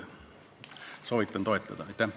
Soovitan eelnõu toetada.